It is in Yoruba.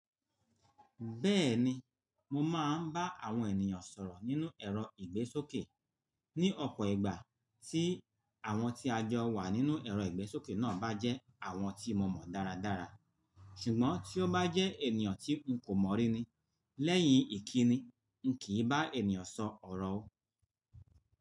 Bẹ́ẹ̀ni, mo máa ń bá àwọn ènìyàn sọ̀rọ̀ nínú ẹ̀rọ ìgbésókè ní ọ̀pọ̀ ìgbà tí àwọn tí a jọ wà nínú ẹ̀rọ ìgbésókè náà bá jẹ́ àwọn tí mo mọ dáradára. Ṣùgbọ́n tí ó bá jẹ́ ènìyàn tí n kò mọ̀ rí ni, lẹ́yìn ìkíni, n kì í bá ènìyàn sọ ọ̀rọ̀ o.